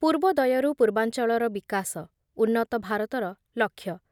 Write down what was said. ପୂର୍ବୋଦୟରୁ ପୂର୍ବାଞ୍ଚଳର ବିକାଶ ହେଉଛି ଉନ୍ନତ ଭାରତର ଲକ୍ଷ୍ୟ ।